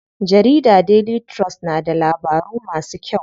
Jarida Daily trust na da labaru masu kyau.